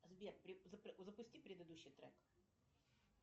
сбер запусти предыдущий трек